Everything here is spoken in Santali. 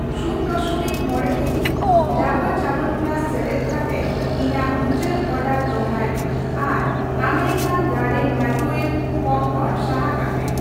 ᱥᱩᱱ ᱫᱚᱥᱚᱢᱤᱠ ᱢᱚᱬᱮ ᱠᱮᱡᱤ ᱰᱟᱵᱩᱨ ᱪᱟᱣᱚᱱᱯᱨᱟᱥ ᱥᱮᱞᱮᱫ ᱠᱟᱛᱮᱫ ᱤᱧᱟᱜ ᱢᱩᱪᱟᱹᱫ ᱚᱰᱟᱨ ᱫᱚᱲᱦᱟᱭ ᱢᱮ ᱟᱨ ᱟᱢᱮᱨᱤᱠᱟᱱ ᱜᱟᱨᱰᱮᱱ ᱢᱟᱭᱠᱨᱚᱳᱣᱮᱵᱷ ᱯᱚᱯᱠᱚᱨᱱ ᱥᱟᱦᱟ ᱠᱟᱜ ᱢᱮ ᱾